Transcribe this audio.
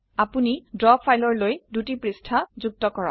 আপোনি ড্ৰ ফাইলৰলৈ দুটি পৃষ্ঠা যুক্ত কৰক